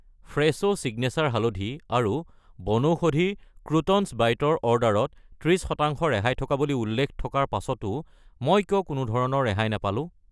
ফ্ৰেছো signature হালধি আৰু বনৌষধিৰ ক্ৰোটন্‌ছ বাইট ৰ অৰ্ডাৰত 30 % ৰেহাই থকা বুলি উল্লেখ থকাৰ পাছতো মই কিয় কোনোধৰণৰ ৰেহাই নাপালো?